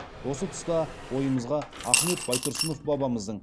осы тұста ойымызға ахмет байтұрсынов бабамыздың